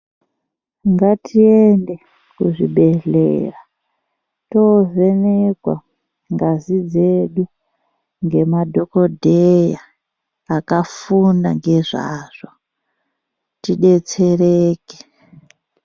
Ngatiende kuzvibhedhlera tovhenekwa ngazi dzedu ngemadhokodheya akafunda ngezvazvo tidetsereke.